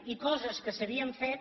i coses que s’havien fet